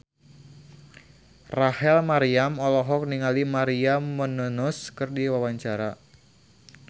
Rachel Maryam olohok ningali Maria Menounos keur diwawancara